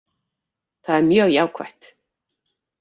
Það er mjög jákvætt